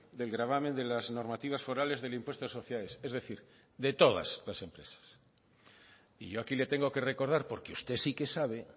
del gravamen de las normativas forales del impuesto de sociedades es decir de todas las empresas y yo aquí le tengo que recordar porque usted sí que sabe